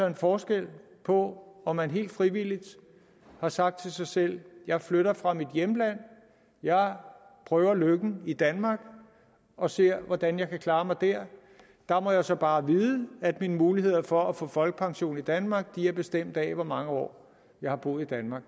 en forskel på om man helt frivilligt har sagt til sig selv jeg flytter fra mit hjemland jeg prøver lykken i danmark og ser hvordan jeg kan klare mig der der må jeg så bare vide at mine muligheder for at få folkepension i danmark er bestemt af hvor mange år jeg har boet i danmark